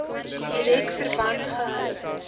direk verband gehou